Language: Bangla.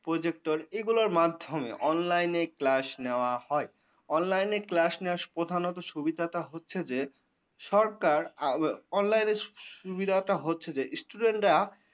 project এগুলোর মাধ্যমে online class নেওয়া হয়। online class নেওয়ার প্রধানত সুবিধা টা হচ্ছে যে সরকার আ online সুবিধাটা হচ্ছে যে student রা।